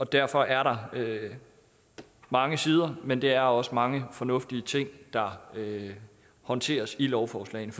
derfor er der mange sider men det er også mange fornuftige ting der håndteres i lovforslagene